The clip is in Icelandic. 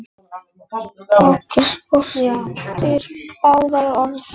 Okkur skortir báða orð.